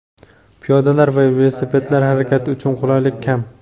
Piyodalar va velosipedlar harakati uchun qulaylik kam.